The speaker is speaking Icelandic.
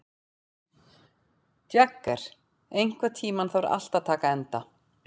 Jagger, einhvern tímann þarf allt að taka enda.